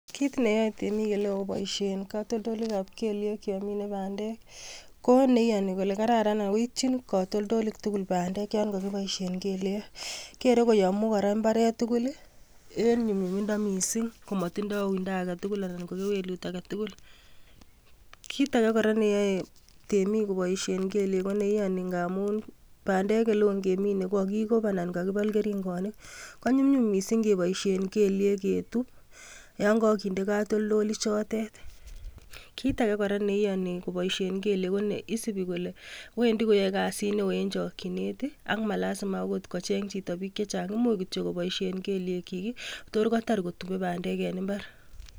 Kiit neyoe biik oleoo koboishen kotoldoleiwekab keliek yon minee bandek ko neiyoni kolee kararan ak ko ityin kotoldolik tukul bandek yoon kokiboishen keliek, kere kora koyomu imbaret tukul en nyumnyumindo mising komotindo uindo aketukul anan ko kewelut aketukul, kiit akee ne iyoni koboishen isibi kolee Wendi koyoe kasit neoo en chokyinet ak malasima akot kocheng chito biik chechang imuch koboishen keliekyik toor kotar kotube bandeken imbar.